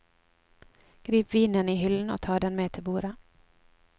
Grip vinen i hyllen og ta den med til bordet.